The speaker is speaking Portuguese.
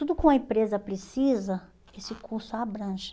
Tudo o que uma empresa precisa, esse curso abrange.